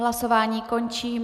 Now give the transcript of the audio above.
Hlasování končím.